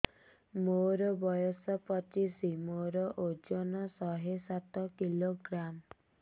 ମୋର ବୟସ ପଚିଶି ମୋର ଓଜନ ଶହେ ସାତ କିଲୋଗ୍ରାମ